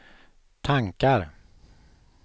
tankar